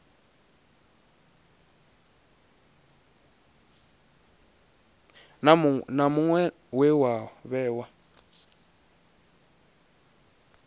na muṅwe we wa vhewa